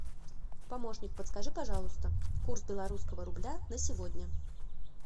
помощник подскажи пожалуйста курс белорусского рубля на сегодня